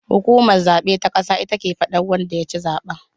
Hukumar zaben ta ƙasa ita ke faɗa wanda yaci zaben